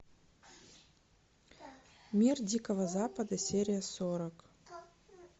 мир дикого запада серия сорок